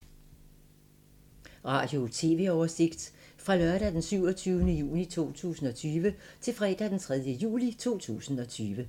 Radio/TV oversigt fra lørdag d. 27. juni 2020 til fredag d. 3. juli 2020